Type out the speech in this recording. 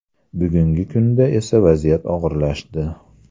Bugungi kunda esa vaziyat og‘irlashdi.